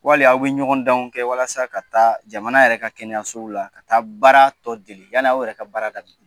Wali aw bɛ ɲɔgɔndanw kɛ walasa ka taa jamana yɛrɛ ka kɛnɛyaɲɛsow la ka taa baara tɔ dege yann'aw yɛrɛ ka baara daminɛ.